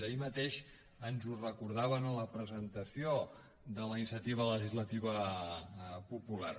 ahir mateix ens ho recordaven en la presentació de la iniciativa legislativa popular